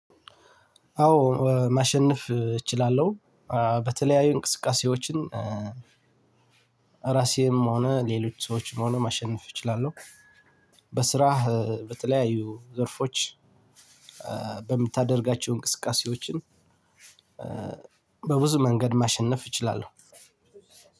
አዎ ማሸነፍ እችላለው። በተለያዩ እንቅስቃሴዎችን ራሴም ሆነ ሌሎች ሰዎችም ሆነ ማሸነፍ እችላለው። በስራህ በተለያዩ ዘርፎች በምታደርጋቸው እንቅስቃሴዎችን በብዙ መንገድ ማሸነፍ እችላለው።